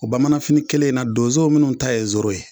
O bamananfini kelen in na donzow munu ta ye zoro ye.